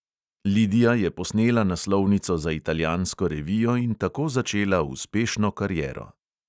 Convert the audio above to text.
Lidija je posnela naslovnico za italijansko revijo in tako začela uspešno kariero.